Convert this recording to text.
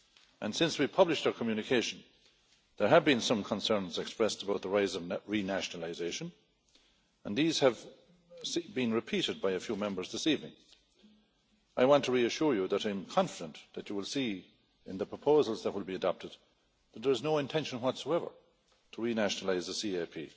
And since we published our communication, there have been some concerns expressed about the rise of renationalisation and these have been repeated by a few Members this evening. I want to reassure you that I'm confident that you will see in the proposals that will be adopted that there is no intention whatsoever to renationalise the CAP.